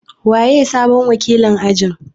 Waye sabon wakilin ajin?